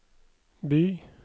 by